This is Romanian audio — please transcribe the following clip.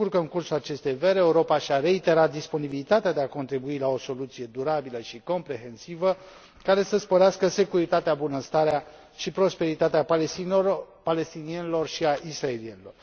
Mă bucur că, în cursul acestei veri, Europa și a reiterat disponibilitatea de a contribui la o soluție durabilă și comprehensivă, care să sporească securitatea, bunăstarea și prosperitatea palestinienilor și a israelienilor.